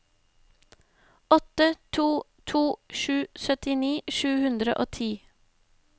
åtte to to sju syttini sju hundre og ti